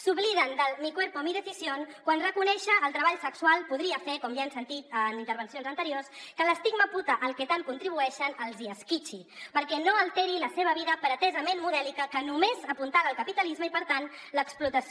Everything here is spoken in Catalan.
s’obliden del mi cuerpo mi decisión quan reconèixer el treball sexual podria fer com ja hem sentit en intervencions anteriors que l’estigma puta al que tant contribueixen els hi esquitxi perquè no alteri la seva vida pretesament modèlica que només apuntala el capitalisme i per tant l’explotació